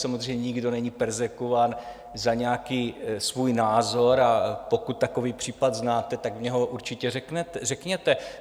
Samozřejmě nikdo není perzekvován za nějaký svůj názor, a pokud takový případ znáte, tak mně ho určitě řekněte.